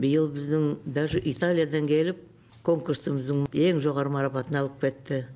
биыл біздің даже италиядан келіп конкурсымыздың ең жоғарғы марапатын алып кетті